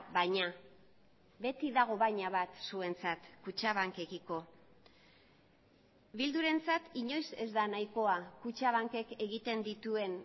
baina beti dago baina bat zuentzat kutxabankekiko bildurentzat inoiz ez da nahikoa kutxabankek egiten dituen